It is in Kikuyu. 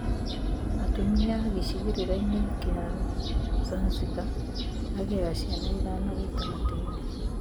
Atumia gĩcigĩrĩra-inĩ kĩa Zanzibar, magĩaga ciana ithano gĩtagatĩ-inĩ